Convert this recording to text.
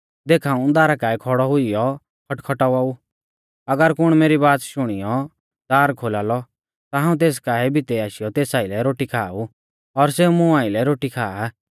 देख हाऊं दारा काऐ खौड़ौ हुइयौ खटखटावा ऊ अगर कुण मेरी बाच़ शुणियौ दार खोलालौ ता हाऊं तेस काऐ भितै आशीयौ तेस आइलै रोटी खाआ ऊ और सेऊ मुं आइलै रोटी खाआ